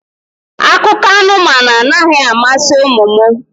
Akụkọ anụmanụ anaghị amasị ụmụ m